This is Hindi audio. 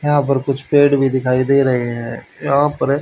यहां पर कुछ पेड़ भी दिखाई दे रहे हैं यहां पर--